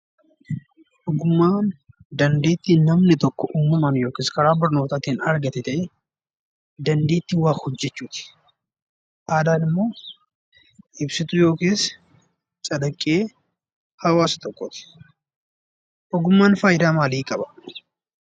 Ogummaan dandeettii namni tokko uumamaan yookiin barnootaatiin argate ta'ee dandeettii waa hojjechuuti. Aadaan immoo ibsituu yookiis calaqqee hawaasa tokkooti. Ogummaan faayidaa maalii qaba?